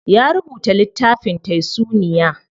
Ya rubuta littafin taysuniya.